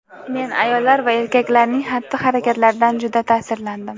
Men ayollar va erkaklarning xatti-harakatlaridan juda ta’sirlandim.